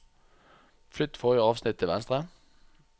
Flytt forrige avsnitt til venstre